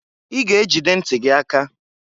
I ga ejide nti gị aka!